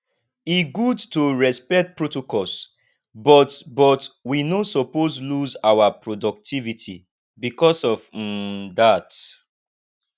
e good to respect protocols but but we no suppose lose our productivity bicos of um dat